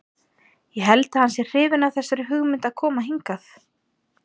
Ég held að hann sé hrifinn af þessari hugmynd að koma hingað.